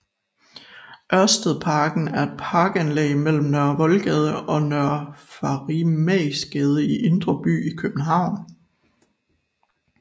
Ørstedsparken er et parkanlæg mellem Nørre Voldgade og Nørre Farimagsgade i Indre By i København